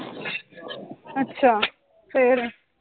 ਅੱਛਾ ਫਿਰ?